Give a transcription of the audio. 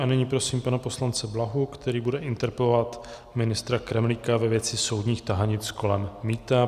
A nyní prosím pana poslance Blahu, který bude interpelovat ministra Kremlíka ve věci soudních tahanic kolem mýta.